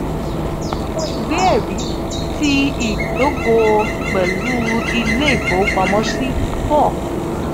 awọn iwe-ẹri ti idogo pẹlu ile ifowopamọsi four.